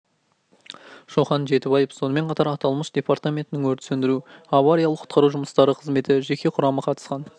шоқан жетібаев сонымен қатар аталмыш департаментінің өрт сөндіру және авариялық-құтқару жұмыстары қызметі жеке құрамы қатысқан